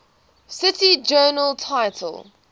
cite journal title